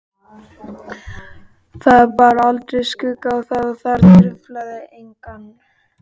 Það bar aldrei skugga á það og það truflaði engan.